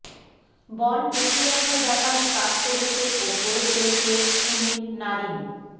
বল লুকিয়ে রাখার ব্যাপারে কাজ করেছে ও করে চলেছে সুনীল নারিন